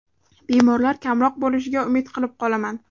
Bemorlar kamroq bo‘lishiga umid qilib qolaman.